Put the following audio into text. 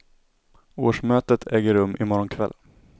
Årsmötet äger rum i morgon kväll.